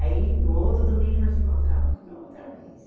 Aí, no outro domingo, nós se encontrava de novo, outra vez.